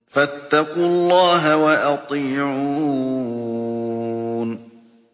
فَاتَّقُوا اللَّهَ وَأَطِيعُونِ